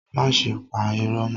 Máṣe pa ìró mọ́.